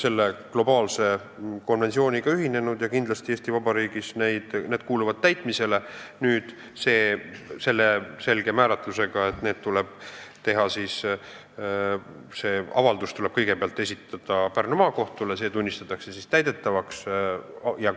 Me oleme ülemaailmse konventsiooniga ühinenud ja kindlasti Eesti Vabariigis need otsused kuuluvad täitmisele, aga selge klausliga, et avaldus tuleb kõigepealt esitada meie kohtule, kus see ehk tunnistatakse täidetavaks.